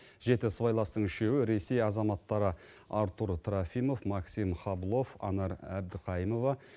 жеті сыбайластың үшеуі ресей азаматтары артур трофимов максим хаблов анар әбдіқайымова